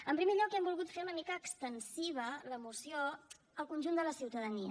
en primer lloc hem volgut fer una mica extensiva la moció al conjunt de la ciutadania